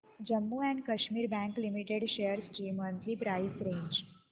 Jammu and Kashmir bank limited shares ची monthly price range